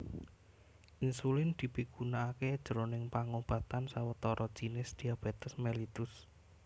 Insulin dipigunakaké jroning pangobatan sawetara jinis diabetes mellitus